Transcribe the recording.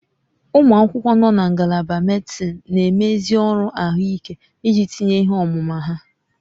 Ụmụ akwụkwọ nọ na Ngalaba medịsịn na-eme ezi ọrụ ahụike iji tinye ihe ọmụma ha